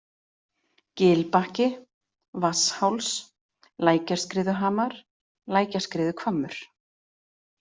Gilbakki, Vatnsháls, Lækjarskriðuhamar, Lækjarskriðuhvammur